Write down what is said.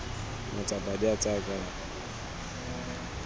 matsapa di a tsaya kae